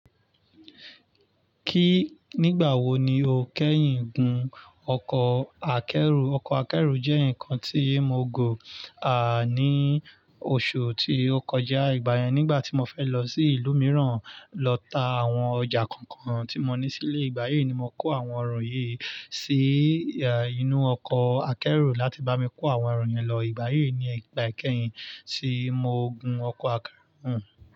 Kí nígbà wo ni o kẹ́yìn gun ọkọ̀ akẹ́rù? Ọkọ̀ akẹ́rù jẹ́ nǹkan tí mo gùn, ní oṣù tí ó kọjá ìgbà yẹn nígbà tí mo fẹ́ lọ sí ìlú mìíràn lọ ta àwọn ọjà kankan tí mo ní sílé. Ìgbà yí ni mo kó àwọn eru yí sí, inú ọkọ̀ akẹ́rù láti bá mi kó àwọn eru yẹn lọ. Ìgbà yí ni ìgbà kẹ́yìn tí mo gun ọkọ̀ akẹ́rù.